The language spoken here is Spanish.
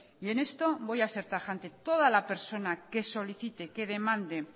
y en esto voy a ser tajante toda la persona que solicite que demande